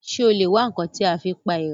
Ṣé o lè wá ǹkan tí a fi pa èèrà?